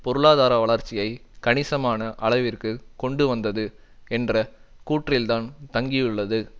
பொருளாதார வளர்ச்சியை கணிசமான அளவிற்கு கொண்டு வந்தது என்ற கூற்றில்தான் தங்கியுள்ளது